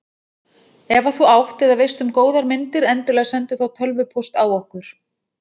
Ef að þú átt eða veist um góðar myndir endilega sendu þá tölvupóst á okkur.